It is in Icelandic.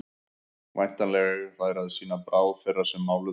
væntanlega eiga þær að sýna bráð þeirra sem máluðu